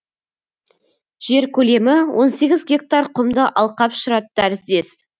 жер көлемі он сегіз гектар құмды алқап шұрат тәріздес